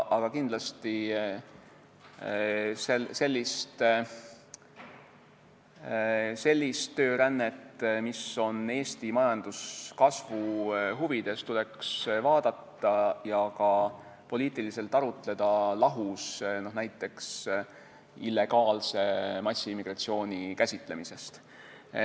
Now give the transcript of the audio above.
Aga kindlasti sellist töörännet, mis on Eesti majanduskasvu huvides, tuleks vaadata ja ka selle üle poliitiliselt arutleda lahus näiteks illegaalse massiimmigratsiooni käsitlemisest.